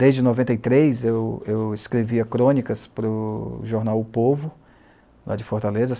Desde noventa e três, eu eu escrevia crônicas para o jornal O Povo, lá de Fortaleza.